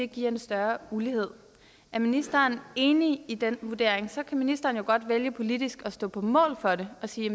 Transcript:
giver større ulighed er ministeren enig i den vurdering så kan ministeren jo godt vælge politisk at stå på mål for det og sige